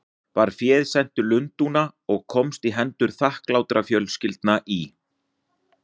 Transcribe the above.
Var féð sent til Lundúna og komst í hendur þakklátra fjölskyldna í